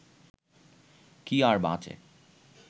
কি আর বাঁচে